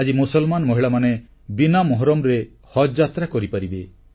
ଆଜି ମୁସଲମାନ ମହିଳାମାନେ ବିନା ମହରମ୍ରେ ହଜଯାତ୍ରା କରିପାରିବେ